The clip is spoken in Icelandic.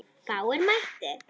Fáir mættu.